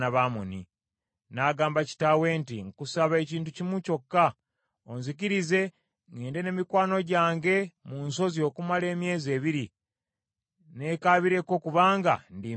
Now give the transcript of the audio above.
N’agamba kitaawe nti, “Nkusaba ekintu kimu kyokka, onzikirize ŋŋende ne mikwano gyange mu nsozi okumala emyezi ebiri, ne kaabireko kubanga ndi mbeerera.”